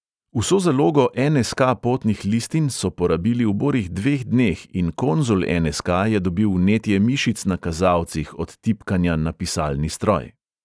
Vso zalogo en|es|ka potnih listin so porabili v borih dveh dneh in konzul en|es|ka je dobil vnetje mišic na kazalcih od tipkanja na pisalni stroj.